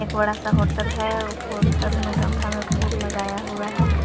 एक बड़ा सा होटल है होटल में गमले में फूल लगाया हुआ है।